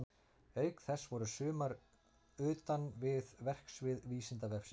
Auk þess voru sumar utan við verksvið Vísindavefsins.